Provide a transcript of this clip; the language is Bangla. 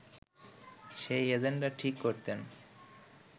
সেই এজেন্ডা ঠিক করতেন